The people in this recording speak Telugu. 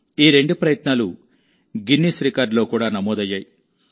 ఈ రెండు ప్రయత్నాలూ గిన్నిస్ రికార్డులో కూడా నమోదయ్యాయి